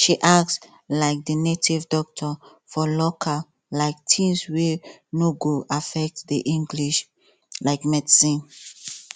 she ask um the native doctor for local um things wey no go affect the english um medicine